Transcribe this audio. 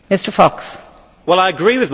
Well, I agree with my colleague.